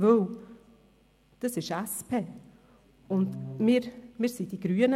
Denn das ist die SP, wir sind die Grünen.